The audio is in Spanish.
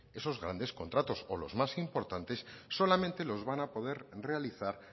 esos grandes contratos o los más importante solamente los van a poder realizar